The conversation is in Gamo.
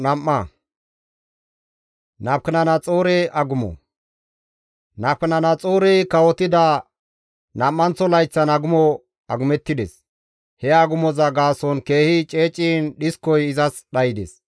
Nabukadanaxoorey kawotida nam7anththo layththan agumo agumettides; he agumoza gaason keehi ceeciin dhiskoy izas dhaydes.